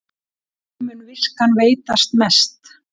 Þeim mun viskan veitast mest